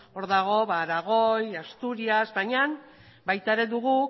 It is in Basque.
hor dago aragoi asturias bainan baita ere dugu